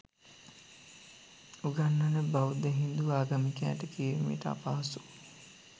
උගන්වන බෞද්ධ හින්දු ආගමිකයින්ට කිරීමට අපහසු